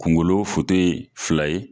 Kungolo foto ye fila ye